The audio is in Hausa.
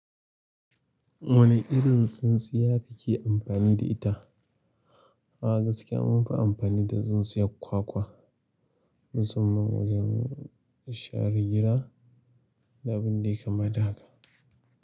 Wane irin tsintsiya kake amfani da ita? A gaskiya mun fi amfani da tsintsiyar kwakwa, musamman wajen share gida da abin da ya kama da haka.